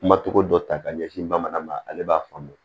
Kuma togo dɔ ta ka ɲɛsin bamanan ma ale b'a faamu